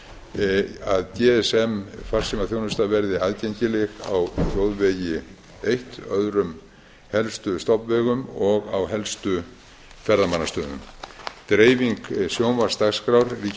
tvö að gsm farsímaþjónusta verði aðgengileg á þjóðvegi eitt öðrum helstu stofnvegum og á helstu ferðamannastöðum þrjú dreifing sjónvarpsdagskrár ríkisútvarpsins auk